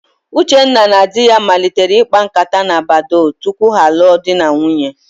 Uchenna na di ya malitere ịkpa ǹkátá na Badoo tupu ha alụọ di na nwunye.